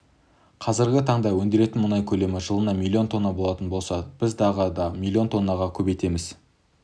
қазіргі таңда өндіретін мұнай көлемі жылына миллион тонна болатын болса біз тағы да миллион тоннаға көбейтеміз